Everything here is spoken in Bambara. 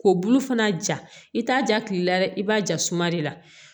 Ko bulu fana ja i t'a ja kile la dɛ i b'a ja suma de la